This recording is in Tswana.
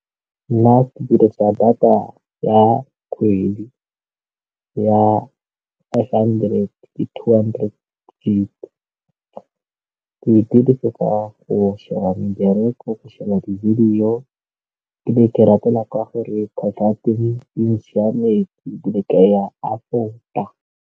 Nna ke dirisa data ya kgwedi ya five hundred two hundred daily, ke e dirisetsa go sheba mebereko, go sheba dibedio, ke be ke e ratela gore ditšhelete di le ka .